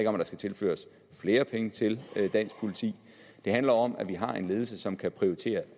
om at der skal tilføres flere penge til dansk politi det handler om at vi har en ledelse som kan prioritere